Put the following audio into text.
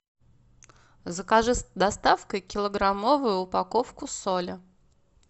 закажи с доставкой килограммовую упаковку соли